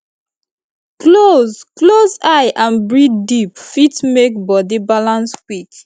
close close eye and breathe deep fit make body balance quick